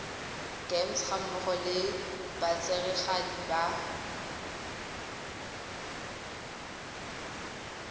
gems gammogo le batsereganyi ba